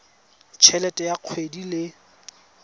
t helete ya kgwedi le